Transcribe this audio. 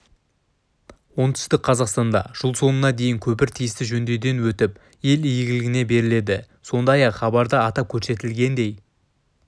оңтүстік қазақстанда жыл соңына дейін көпір тиісті жөндеуден өтіп ел игілігіне беріледі сондпай-ақ хабарда атап көрсетілгендей